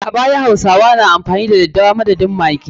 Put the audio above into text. A baya, hausawa na amfani da dadewa madadin maggi.